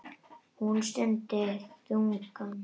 Hún stundi þungan.